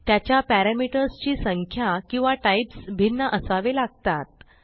त्याच्या पॅरामीटर्स ची संख्या किंवा टाईप्स भिन्न असावे लागतात